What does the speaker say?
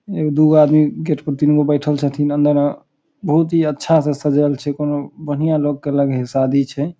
एक दू गो आदमी गेट पर तीन गो बैठएल छथीन अंदर में बहुत ही अच्छा से सजल छै कोनो बढ़िया लोग की लगय हेय शादी छै ।